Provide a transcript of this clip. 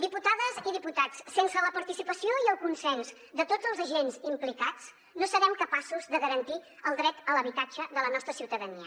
diputades i diputats sense la participació i el consens de tots els agents implicats no serem capaços de garantir el dret a l’habitatge de la nostra ciutadania